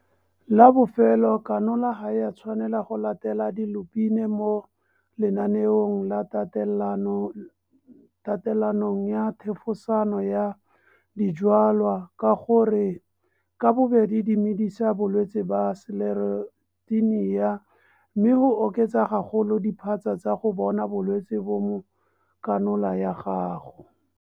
La bofelo, kanola ga e a tshwanela go latela dilupine mo lenaneong la tatelanong ya thefosano ya dijwalwa ka gore ka bobedi di medisa bolwetse ba Sclerotinia mme go oketsa gagolo diphatsa tsa go bona bolwetse bo mo kanola ya gago.